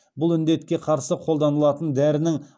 бұл індетке қарсы қолданылатын дәрінің